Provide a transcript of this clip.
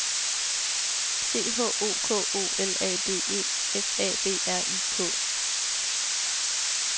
C H O K O L A D E F A B R I K